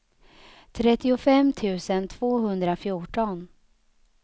trettiofem tusen tvåhundrafjorton